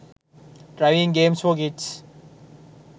driving games for kids